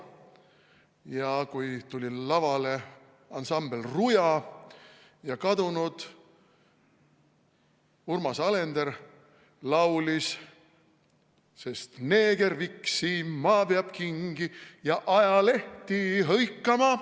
Ja kui tuli lavale ansambel Ruja ja kadunud Urmas Alender laulis: sest neeger viksima peab kingi ja ajalehti hõikama.